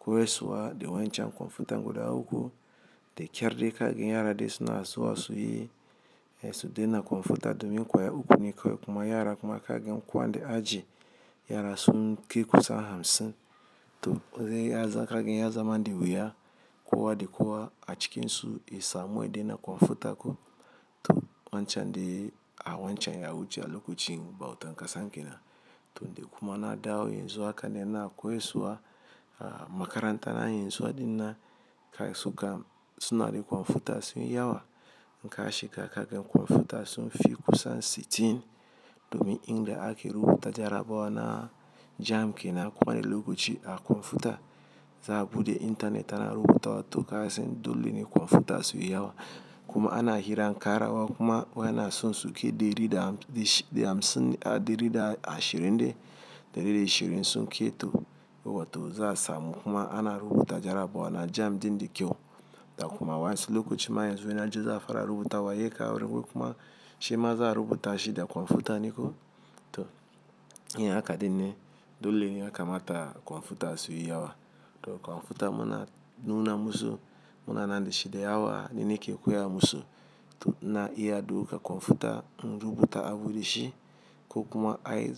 koyaswa dai wa in cen computer guda uku da ƙyar dai ka ga yara dai suna zuwa su yi su dai na computer domin kwaya uku ne kawai kuma yara kuma ka ga ko an dai aji yara sunkai kusan hamsin. To zai iya za ka ga ya zama da wuya kowa da kowa a cikin su ya samu ya dai na computer ko to wancan dai a wancan ya wuce a lokacin bautan ƙasan kenan. To dai kuma na dawo yanzu haka ni ina koyaswa a makaranta na yin zuwa ɗin nan kai suka suna da computer su yi yawa. Ka shiga ka ga computer sun fi kusan sittin. Domin inda ake rubuta jarabawa na jamb kenan kowa ne lokaci a kwamfuta. Za'a buɗe internet ana rubutawa to ka san dole ne computer su yi yawa. Kuma ana hiran kara wa kuma wai ana son su kaibɗari da hamsin ah ɗari da ashirin dai da ɗari da ashirin is ok to za a samu kuma ana rubuta jarabawa na jamb ɗin da kyau. Da kuma wa in su lokacin ma yanzu yana ji za a fara rubuta wa yake da wurin kuma shi ma za a rubuta shi da computer ne ko. To iya haka ɗin ne dole ne ya kamata computer su yi yawa. To computer muna nuna musu muna nan da shi da yawa ni nike koya musu. To ina iya ɗauka computer in rubuta abu da shi. Kuma ai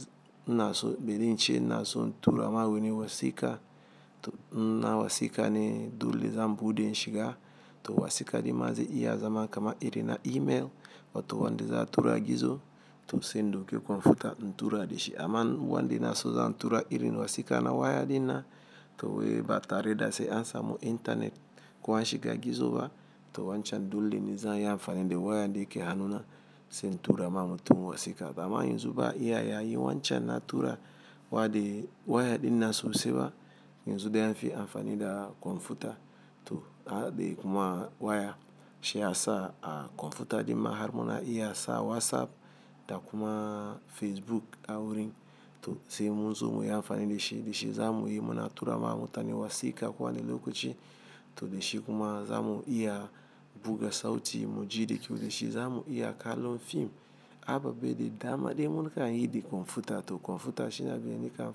ina so bari in ce in tura ma wani wasiƙa. To in ma wasiƙa ne dole zan buɗe in shiga. To wasika ɗin ma zai iya zama kamar irin na email. Wato wanda za a tura gizo to sai in ɗauki computer in tura da shi. Aman wanda na so zan tura irin wasiƙa na waya ɗin nan to wai ba tare da sai an samu internet ko an shiga gizo ba. To wancan dole ne za'a iyi amfani da waya da yake hannuna sai n tura ma mutum wasiƙa. Ba ma yanzu iya ya yi wancan na tura wa dai waya ɗin nan sosai ba. Yanzu dai an fi amfani da computer. To na daɗe kuma waya shi ya sa a computer ɗin ma har muna iya sa WhatsApp da kuma Facebook a wurin. To sai muzo muyi amfani dashi dashi za miyi muna tura ma mutane wasiƙa ko wane lokaci. To da shi kuma za mu iya buga sauti mu ji da kyau da shi za mu iya kallon film. Aba be da dama dai muna yi da computer. To computer shi na biyan nika.